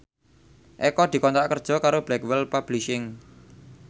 Eko dikontrak kerja karo Blackwell Publishing